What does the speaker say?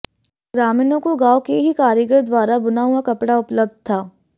ग्रामीणों को गांव के ही कारीगर द्वारा बुना हुआ कपड़ा उपलब्ध था